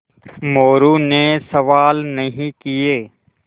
मोरू ने सवाल नहीं किये